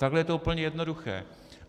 Takhle je to úplně jednoduché.